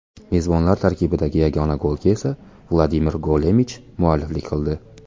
Mezbonlar tarkibidagi yagona golga esa Vladimir Golemich mualliflik qildi.